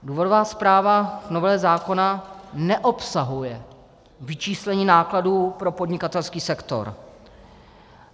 Důvodová zpráva nového zákona neobsahuje vyčíslení nákladů pro podnikatelský sektor.